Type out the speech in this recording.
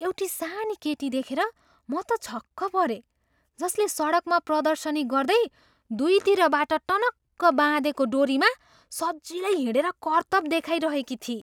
एउटी सानी केटी देखेर म त छक्क परेँ जसले सडकमा प्रदर्शनी गर्दै दुईतिरबाट टनक्क बाँधेको डोरीमा सजिलै हिँडेर कर्तब देखाइरहेकी थिई।